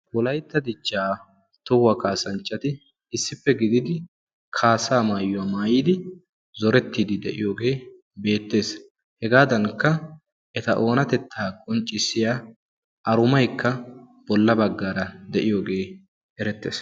Wolaytta dichcha tohuwa kaassanchchati issippe gididi kaassaa maayuwa maayyidi zorettiiddi de'iyooge beettees; hegadankka eta oonatetta qonccissiya arumaykka bolla baggara de'iyooge erettees.